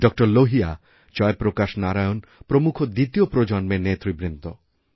ডা লোহিয়া জয়প্রকাশ নারায়ণ প্রমুখ দ্বিতীয় প্রজন্মের নেতৃবৃন্দ